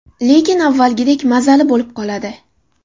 Lekin avvalgidek mazali bo‘lib qoladi.